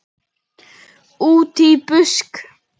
Útí busk.